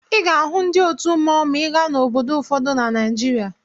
Ị ga-ahụ ndị otu mmọnwụ ma ị gaa obodo ụfọdụ na Naịjirịa.